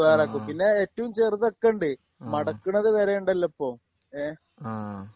ആഹ് ആഹ്ആഹ്